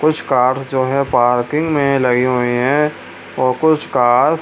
कुछ कार जो है पार्किंग में लगी हुई है और कुछ कारस --